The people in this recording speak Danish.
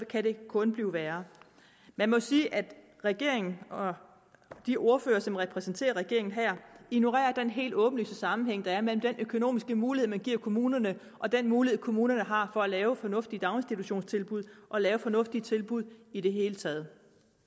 kan det kun blive værre jeg må sige at regeringen og de ordførere som repræsenterer regeringen her ignorerer den helt åbenlyse sammenhæng der er mellem den økonomiske mulighed man giver kommunerne og den mulighed kommunerne har for at lave fornuftige daginstitutionstilbud og lave fornuftige tilbud i det hele taget